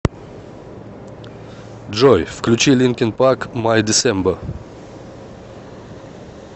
джой включи линкин парк май десембер